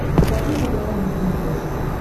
покажи квн на смотрешке